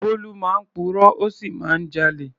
Bólú máa ń purọ́, ó sì máa ń jalè.